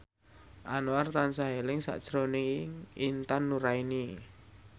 Anwar tansah eling sakjroning Intan Nuraini